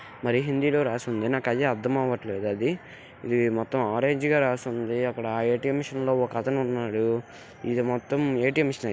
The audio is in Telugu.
మరి హిందీ లో రాసి ఉంది. నాకు అది అర్ధం అవ్వట్లేద్ అది. ఇది మొత్తం ఆరంజ్ గా రాసి ఉంది .అక్కడ ఏ_టి_ఎం మెషిన్ లో ఒక అతనున్నాడు. ఇది మొత్తం ఏ_టి_ఎం మిషనె --